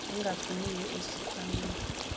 engafuniwe esikh wameni